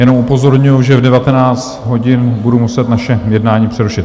Jenom upozorňuji, že v 19 hodin budu muset naše jednání přerušit.